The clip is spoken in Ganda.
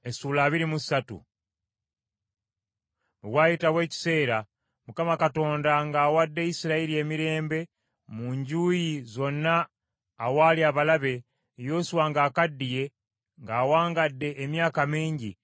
Bwe waayitawo ekiseera, Mukama Katonda ng’awadde Isirayiri emirembe mu njuyi zonna awaali abalabe, Yoswa ng’akaddiye ng’awangadde emyaka mingi,